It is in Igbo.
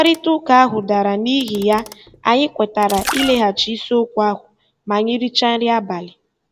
Mkparịta ụka ahụ dara, n'ihi ya, anyị kwetara ileghachi isiokwu ahụ ma anyị richaa nri abalị.